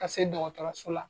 Ka se dɔgɔtɔrɔso la.